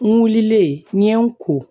N wulilen n ye n ko